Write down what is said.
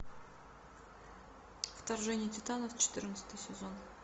вторжение титанов четырнадцатый сезон